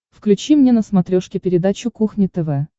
включи мне на смотрешке передачу кухня тв